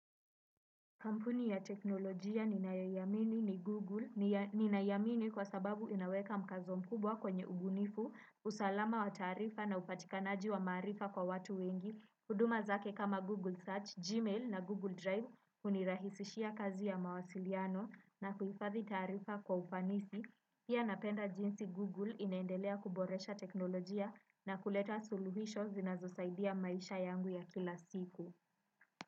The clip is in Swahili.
Kampuni ya teknolojia ninayoiamini ni Google, ninaiamini kwa sababu inaweka mkazo mkubwa kwenye ubunifu, usalama wa taarifa na upatikanaji wa maarifa kwa watu wengi. Huduma zake kama Google Search, Gmail na Google Drive, hunirahisishia kazi ya mawasiliano na kuhifadhi taarifa kwa ufanisi. Pia napenda jinsi Google inaendelea kuboresha teknolojia na kuleta suluhisho zinazosaidia maisha yangu ya kila siku.